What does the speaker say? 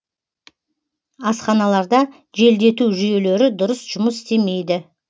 асханаларда желдету жүйелері дұрыс жұмыс істемейді